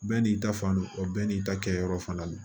Bɛɛ n'i ta fan don bɛɛ n'i ta kɛ yɔrɔ fana ye